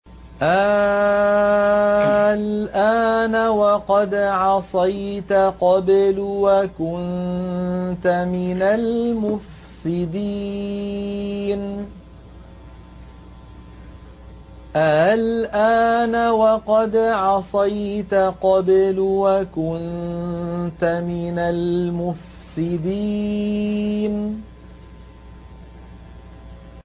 آلْآنَ وَقَدْ عَصَيْتَ قَبْلُ وَكُنتَ مِنَ الْمُفْسِدِينَ